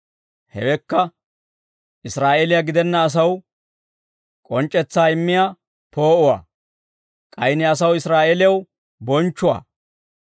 Hewekka Israa'eeliyaa gidenna asaw, k'onc'c'etsaa immiyaa poo'uwaa. K'ay Ne asaw Israa'eelew bonchchuwaa.»